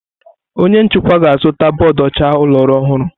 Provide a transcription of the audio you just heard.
Onye nchịkwa ga-azụta bọọdụ ọcha ụlọ ọrụ ọhụrụ.